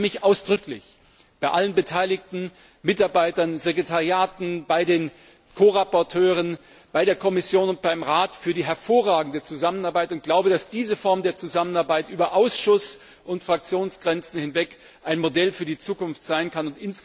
Ich bedanke mich ausdrücklich bei allen Beteiligten, Mitarbeitern, Sekretariaten, bei den Ko Berichterstattern, bei der Kommission und beim Rat für die hervorragende Zusammenarbeit und glaube, dass diese Form der Zusammenarbeit über Ausschuss und Fraktionsgrenzen hinweg ein Modell für die Zukunft sein kann.